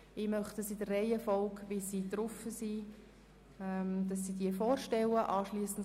Ich möchte diese in der Reihenfolge, wie sie sich auf der Vorlage befinden, vorstellen lassen.